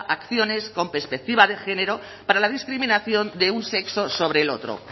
acciones con perspectiva de género para la discriminación de un sexo sobre el otro